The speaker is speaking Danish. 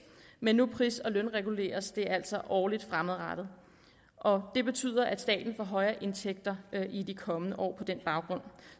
men nu pris og lønreguleres det altså årligt fremadrettet og det betyder at staten får højere indtægt i de kommende år på den baggrund